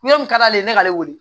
Yɔrɔ min ka d'ale ye ne k'ale wele